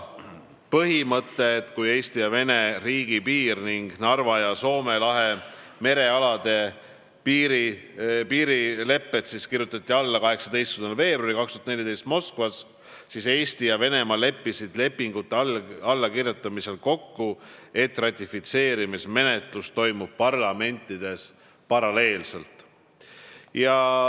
Kui Eesti ja Venemaa riigipiiri ning Narva ja Soome lahe merealade piirilepped kirjutati 18. veebruaril 2014 Moskvas alla, siis Eesti ja Venemaa leppisid lepingute allakirjutamisel kokku, et ratifitseerimismenetlus toimub parlamentides paralleelselt.